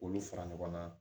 K'olu fara ɲɔgɔn kan